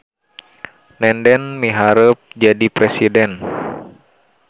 Nenden miharep jadi presiden